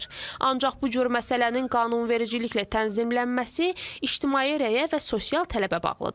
Ancaq bu cür məsələnin qanunvericiliklə tənzimlənməsi ictimai rəyə və sosial tələbə bağlıdır.